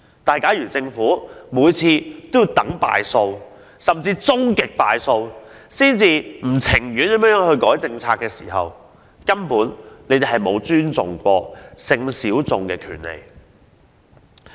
不過，如果政府每次皆要在敗訴甚或終極敗訴後才老不情願地修改政策，這便反映出政府根本沒有尊重性小眾的權利。